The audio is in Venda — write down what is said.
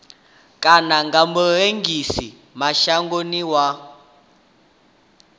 kana na murengisi mashangoni wa